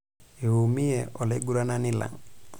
Eiumie olaiguranani lang'.